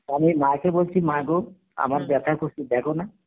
আমি মাকে বলছি মা গো আমার ব্যথা করছে দেখনা